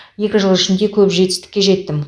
екі жыл ішінде көп жетістікке жеттім